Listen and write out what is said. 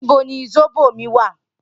Nibó ni sóbó mi wá?